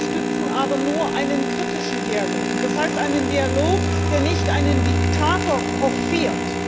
Wir unterstützen aber nur einen kritischen Dialog, das heißt einen Dialog, der nicht einen Diktator hofiert.